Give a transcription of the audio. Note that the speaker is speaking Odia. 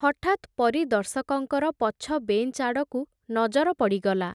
ହଠାତ୍ ପରିଦର୍ଶକଙ୍କର ପଛ ବେଂଚ୍ ଆଡ଼କୁ ନଜର ପଡ଼ିଗଲା ।